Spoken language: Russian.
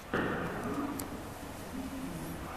варроман в ютьюбе